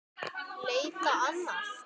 Leita annað?